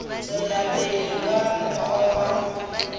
tswela pele ka mokgwa wa